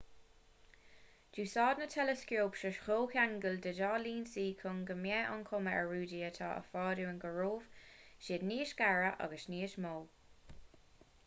d'úsáid na teileascóip seo comhcheangal de dhá lionsa chun go mbeadh an chuma ar rudaí atá i bhfad uainn go raibh siad níos gaire agus níos mó